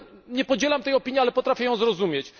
Nie podzielam tej opinii, ale potrafię ją zrozumieć.